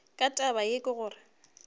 ka taba ye ka gore